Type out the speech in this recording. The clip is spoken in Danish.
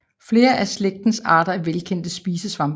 Flere af slægtens arter er velkendte spisesvampe